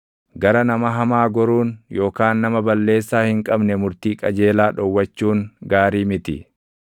Gara nama hamaa goruun // yookaan nama balleessaa hin qabne murtii qajeelaa dhowwachuun gaarii miti.